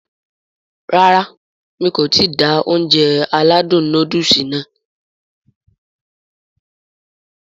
Rárá mi kò ti da Ounjẹ aládùn nóódùsì nàá